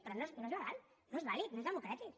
però no és legal no és vàlid no és democràtic